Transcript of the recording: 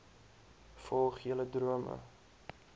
volg julle drome